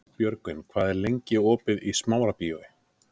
Björgvin, hvað er lengi opið í Smárabíói?